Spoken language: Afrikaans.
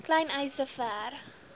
klein eise ver